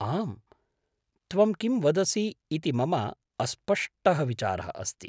आम्, त्वं किं वदसि इति मम अस्पष्टः विचारः अस्ति।